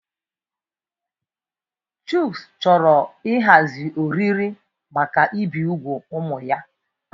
Chucks chọrọ ịhazi oriri maka ibi úgwù ụmụ ya.